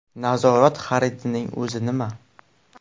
Nazorat xaridining o‘zi nima?